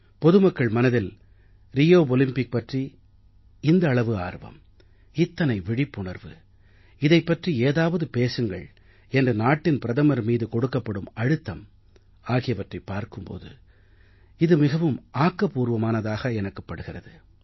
பொதுமக்கள் மனதில் Rio Olympic பற்றி இந்த அளவு ஆர்வம் இத்தனை விழிப்புணர்வு இதைப் பற்றி ஏதாவது பேசுங்கள் என்று நாட்டின் பிரதமர் மீது கொடுக்கப்படும் அழுத்தம் ஆகியவற்றைப் பார்க்கும் போது இது மிகவும் ஆக்கப்புர்வமானதாக எனக்குப் படுகிறது